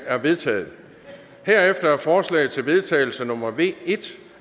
er vedtaget herefter er forslag til vedtagelse nummer v en